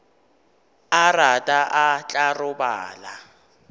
a rata o tla robala